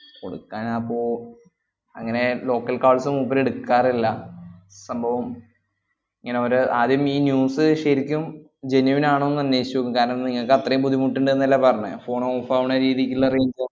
കൊടുക്കാൻ അപ്പോ അങ്ങനെ local calls മൂപ്പര് എടുക്കാറില്ല. സംഭവം ഇങ്ങനെ ഒര് ആദ്യം ഈ news ശെരിക്കും genuine ആണോന്ന് അന്വേഷിച്ചുനോക്കും, കാരണം നിങ്ങക്ക് അത്രയും ബുദ്ധിമുട്ടുണ്ടെന്നല്ലേ പറഞ്ഞെ phone off ആവണ രീതിക്കുള്ള range